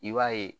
I b'a ye